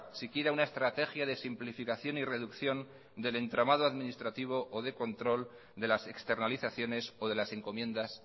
si quiera una estrategia de simplificación y reducción del entramado administrativo o de control de las externalizaciones o de las encomiendas